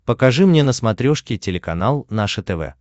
покажи мне на смотрешке телеканал наше тв